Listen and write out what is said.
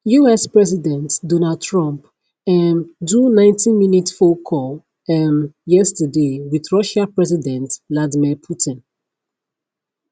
us president donald trump um do 90minute phone call um yesterday wit russia president vladimir putin